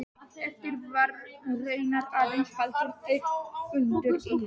Eftir þar var raunar aðeins haldinn einn fundur í